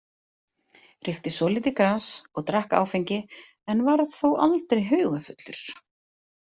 Reykti svolítið gras og drakk áfengi en varð þó aldrei haugafullur.